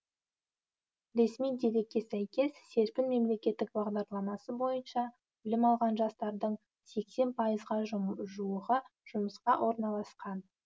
ресми дерекке сәйкес серпін мемлекеттік бағдарламасы бойынша білім алған жастардың сексен пайызға жуығы жұмысқа орналасқан